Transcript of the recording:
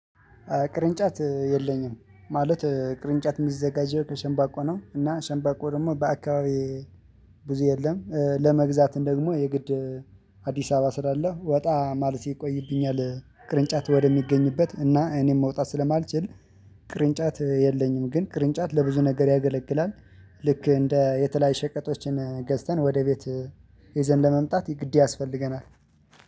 ቅርንጫት የለኝም ማለት ቅርንጫት የሚዘጋጀው ከሸንባቆ ነው። እና ሸንባቆ ደግሞ በአካባቢ ብዙ የለም። ለመግዛት እንደውም የግድ አዲስ አበባ ስላለው ወጣ ማለት ይቆይብኛል። ቅርንጫት ወደሚገኝበት እና እኔም መውጣት ስለማልችል ቅርንጫት የለኝም። ግን ቅርንጫት ለብዙ ነገር ያገለግላል። ልክ እንደ የተለያየ ሸቀጦችን ገዝተን ወደ ቤት ይዘን ለመምጣት ግድ ያስፈልገናል።